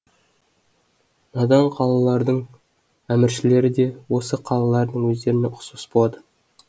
надан қалалардың әміршілері де осы қалалардың өздеріне ұқсас болады